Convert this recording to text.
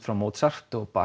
Mozart og